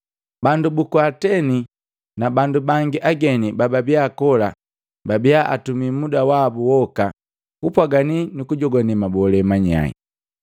Bandu buku Ateni na bandu bangi ageni bababia kola babia atumi muda wabu woka kupwagani nukujogwane mabolee manyai.